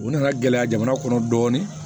U nana gɛlɛya jamana kɔnɔ dɔɔnin